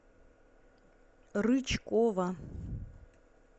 рычкова